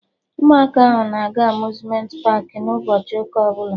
Ụmụaka ahụ na-aga Amuzmenti paakị n'ụbọchị ụka ọbụla